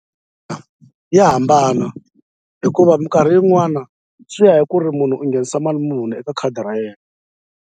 Ya hambana hikuva minkarhi yin'wana swi ya hi ku ri munhu u nghenisa mali muni eka khadi ra yena.